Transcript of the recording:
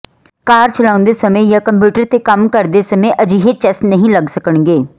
ਕਾਰ ਚਲਾਉਂਦੇ ਸਮੇਂ ਜਾਂ ਕੰਪਿਊਟਰ ਤੇ ਕੰਮ ਕਰਦੇ ਸਮੇਂ ਅਜਿਹੇ ਚੈਸ ਨਹੀਂ ਲੱਗ ਸਕਣਗੇ